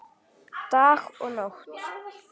Dag og nótt.